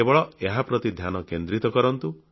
କେବଳ ଏହା ପ୍ରତି ଧ୍ୟାନ କେନ୍ଦ୍ରିତ କରନ୍ତୁ